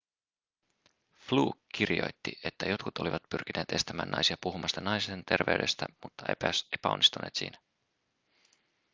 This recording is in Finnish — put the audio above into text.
fluke kirjoitti että jotkut olivat pyrkineet estämään naisia puhumasta naisten terveydestä mutta epäonnistuneet siinä